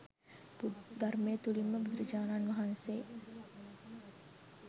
ධර්මය තුළින්ම බුදුරජාණන් වහන්සේ